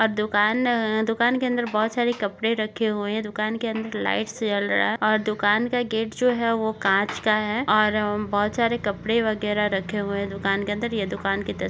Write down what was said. अ दुकान अ दुकान के अंदर बहुत सारे कपडे रखे हुए है दुकान के अंदर लाइट्स जल रहा है और दुकान का गेट जो है वो कांच का है और बहुत सारे कपडे वगैरा रखे हुए है दुकान के अन्दर ये दुकान की तस्वी --